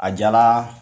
A jala